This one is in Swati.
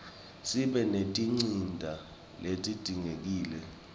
sibe netinsita letidzingekile